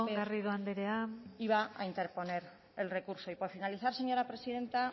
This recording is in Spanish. garrido andrea iba a interponer el recurso y por finalizar señora presidenta